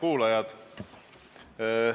Head kuulajad!